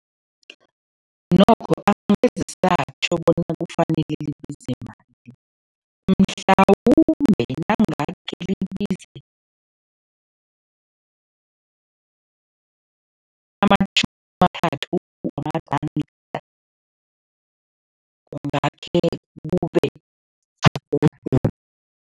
Nokho angeze satjho bona kufanele libize mhlawumbe nangake libize amatjhumi amathathu wamaranda kungakhe kube